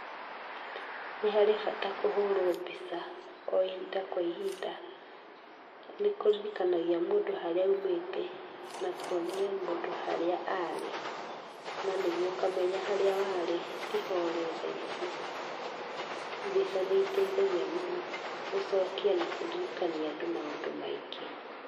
Nĩ harĩ bata kũhũrwo mbica ohĩnda kwa ohĩnda nĩ kũririkanagia mũndũ harĩa aũmĩte na kũonia mũndu haria arĩ na nĩguo ũkamenya harĩa warĩ tĩ ho ũrĩ tha ici, mbica nĩiteithagia mũno gũcokia na kũririkania andũ maũndu maingĩ. .